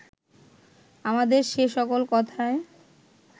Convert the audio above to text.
আমাদের সে সকল কথায়